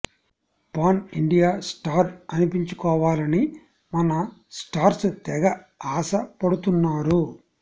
pan India star అనిపించుకోవాలని మన stars తెగ ఆశ పడుతున్నారు